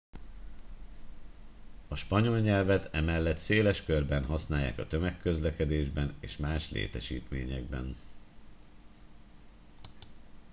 a spanyol nyelvet emellett széles körben használják a tömegközlekedésben és más létesítményekben